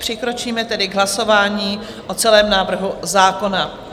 Přikročíme tedy k hlasování o celém návrhu zákona.